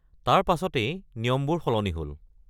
তাৰ পাছতেই নিয়মবোৰ সলনি হ’ল।